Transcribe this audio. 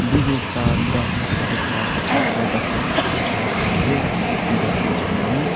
Baby ekta ghas la upor te khara bacha ekta ghas la upor te khara kuri ase ghas ke duri kena.